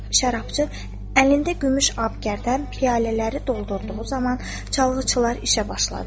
Şərabçı əlində gümüş abgərdən piyalələri doldurduğu zaman çalgıçılar işə başladı.